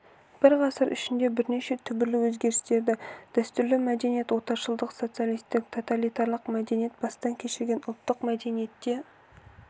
бір ғасыр ішінде бірнеше түбірлі өзгерістерді дәстүрлі мәдениет отаршылдық социалистік тоталитарлық мәдениет бастан кешірген ұлттық мәдениетте